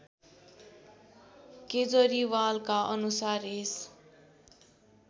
केजरीवालका अनुसार यस